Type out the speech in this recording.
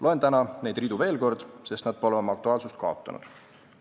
Loen täna neid ridu veel kord, sest nad pole oma aktuaalsust kaotanud.